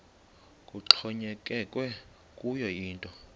kuxhonyekekwe kuyo yinto